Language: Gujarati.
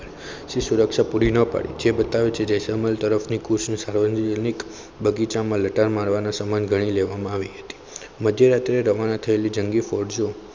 જે સુરક્ષા પુરી ના પાડી જે બતાવે છે જેસલમેર તરફની કોશિશ હવે સાર્વજનિક બગીચામાં લટાર મારવાની સમાન ગણી લેવામાં આવી હતી. મધ્યરાત્રીએ રવાના થયેલી જંગી ફોજો